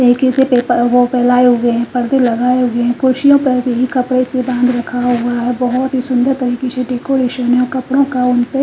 खिड़की से पेप वो फैलाए हुए हैं पर्दे लगाए हुए हैं कुर्सियों पर भी कपड़े हैं रखा हुआ है बहुत ही सुंदर तरीके से डेकोरेशन है कपड़ों का--